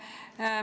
Hea minister!